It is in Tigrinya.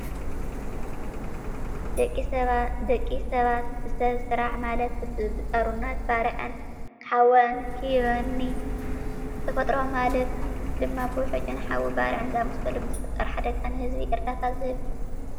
ደቂ ሰባት ብሰብ ስራሕ ማለት ብጠሩነት ባርዕ ሓወንኮኒ ብተፈጥሮ ማልት ድማ ብውሕጅን ሓዊ ባርዕን ዝኣመሳሳሉ ብዝፍጠር ሓደጋ ንህዝብ እርዳታ ዝህብ እዩ።